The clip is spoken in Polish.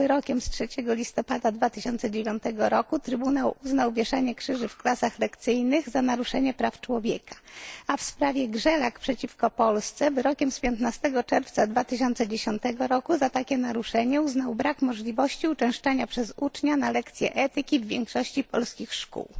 Wyrokiem z 3 listopada 2009 roku Trybunał uznał wieszanie krzyży w klasach lekcyjnych za naruszanie praw człowieka, a w sprawie Grzelak przeciwko Polsce wyrokiem z 15 czerwca 2010 roku za takie naruszenie uznał brak możliwości uczęszczania przez ucznia na lekcje etyki w większości polskich szkół.